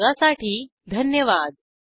सहभागासाठी धन्यवाद